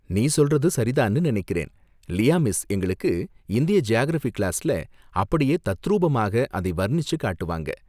நீ சொல்றது சரிதான்னு நினைக்கறேன்! லியா மிஸ் எங்களுக்கு இந்திய ஜியாகிரஃபி கிளாஸ்ல அப்படியே தத்ரூபமாக அதை வர்ணிச்சு காட்டுவாங்க.